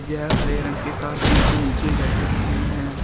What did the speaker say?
यह हरे रंग के के नीचे बैठे हुए है।